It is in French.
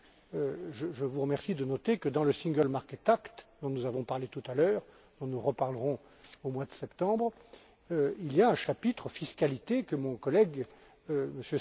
Voilà pourquoi je vous remercie de noter que dans le Single Market Act dont nous avons parlé tout à l'heure et dont nous reparlerons au mois de septembre, il y a un chapitre fiscalité, que mon collègue, M.